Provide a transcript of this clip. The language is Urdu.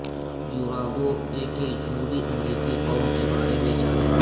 یوراگواے کے جنوبی امریکی قوم کے بارے میں جانیں